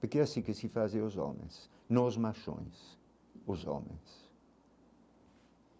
Porque é assim que se fazem os homens, nós machões, os homens.